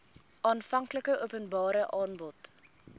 aanvanklike openbare aanbod